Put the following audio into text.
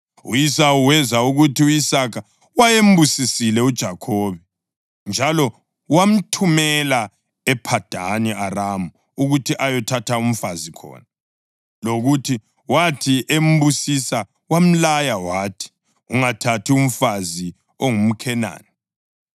U-Esawu wezwa ukuthi u-Isaka wayembusisile uJakhobe njalo wamthumela ePhadani Aramu ukuthi ayothatha umfazi khona, lokuthi wathi embusisa wamlaya wathi, “Ungathathi umfazi ongumKhenani,”